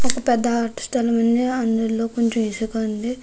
అది పెద్ద ఆట స్తలం ఉంది అందులో కొంచెం ఇసుక ఉంది.